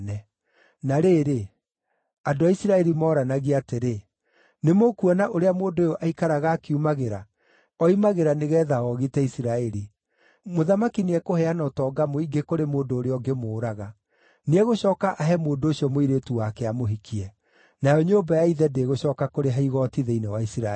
Na rĩrĩ, andũ a Isiraeli mooranagia atĩrĩ, “Nĩmũkuona ũrĩa mũndũ ũyũ aikaraga akiumagĩra? Oimagĩra nĩgeetha oogite Isiraeli. Mũthamaki nĩekũheana ũtonga mũingĩ kũrĩ mũndũ ũrĩa ũngĩmũraga. Nĩegũcooka ahe mũndũ ũcio mũirĩtu wake amũhikie, nayo nyũmba ya ithe ndĩgũcooka kũrĩha igooti thĩinĩ wa Isiraeli.”